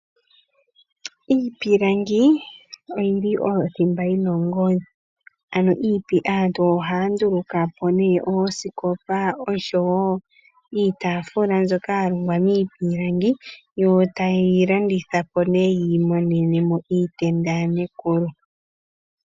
Iipilangi oyili othimba yina ongodhi. Aantu oha ya nduuluka po nee oosikopa osho woo iitafula mbyoka ya longwa miipilangi yo ta ye yi landitha po nee yiimonene mo iitenda yanekulu.